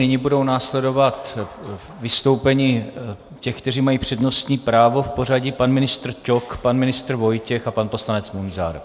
Nyní budou následovat vystoupení těch, kteří mají přednostní právo, v pořadí pan ministr Ťok, pan ministr Vojtěch a pan poslanec Munzar.